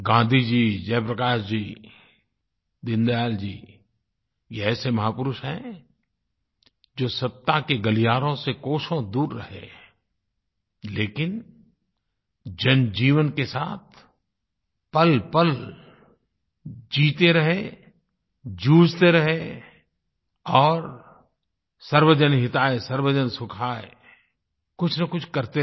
गाँधी जी जयप्रकाश जी दीनदयाल जी ये ऐसे महापुरुष हैं जो सत्ता के गलियारों से कोसो दूर रहे हैं लेकिन जनजीवन के साथ पलपल जीते रहे जूझते रहे और सर्वजन हितायसर्वजन सुखाय कुछनकुछ करते रहे